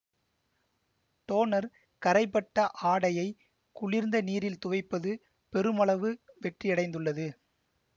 toner கறைபட்ட ஆடையை குளிர்ந்த நீரில் துவைப்பது பெருமளவு வெற்றியடைந்துள்ளது